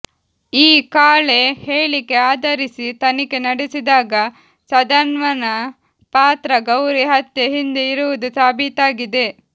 ಈ ಕಾಳೆ ಹೇಳಿಕೆ ಆಧರಿಸಿ ತನಿಖೆ ನಡೆಸಿದಾಗ ಸುಧನ್ವನ ಪಾತ್ರ ಗೌರಿ ಹತ್ಯೆ ಹಿಂದೆ ಇರುವುದು ಸಾಬೀತಾಗಿದೆ